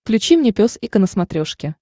включи мне пес и ко на смотрешке